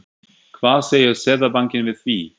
Hvað segir Seðlabankinn við því?